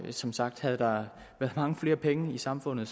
som sagt havde der været mange flere penge i samfundet